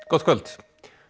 gott kvöld